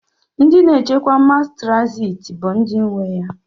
Ndi na echekwa mas traziti bu ndi nwe ya.